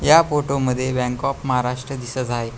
ह्या फोती मध्ये bank of Maharashtra दिसत आहे.